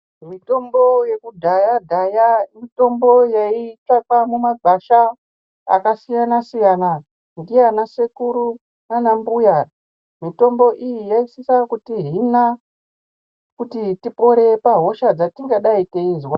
Mitombo yekudhaya dhaya mitombo yaitsvakwa mumagwasha akasiyana siyana ndiana sekuru nanambuya mitombo iyi yaisisa kutihina kuti tipore pahosha dzatingadai teizwa.